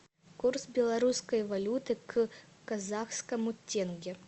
курс белорусской валюты к казахскому тенге